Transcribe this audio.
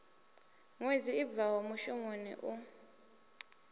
ṅwedzi i bvaho muvhusoni u